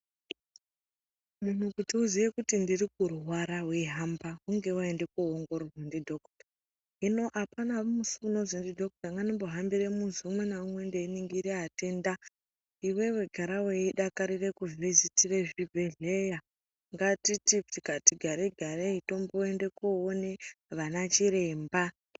Muntu kuti uziye kuti ndirikurwara weihamba hunge waenda kuongororwa ndidhokuta. Hino hapana musi unonzi ndidhokuta ngandimbohambire muzi umwe ngaumwe ndeiningire vatenda . Iwewe gara weidakarira kuvhizitira zvibhedhleya ehleya. Ngatiti tikati garei-garei tomboende kuoone vanachiremba.